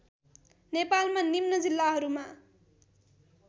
नेपालमा निम्न जिल्लाहरूमा